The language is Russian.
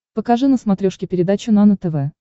покажи на смотрешке передачу нано тв